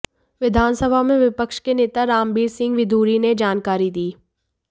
विधानसभा में विपक्ष के नेता रामबीर सिंह विधूड़ी ने यह जानकारी दी